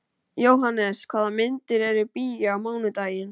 Jóhannes, hvaða myndir eru í bíó á mánudaginn?